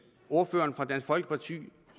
ordføreren for dansk folkeparti